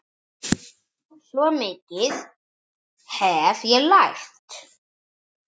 Svo mikið hef ég lært.